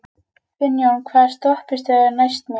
Finnjón, hvaða stoppistöð er næst mér?